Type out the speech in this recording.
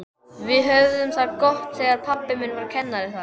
Við höfðum það gott þegar pabbi þinn var kennari þar.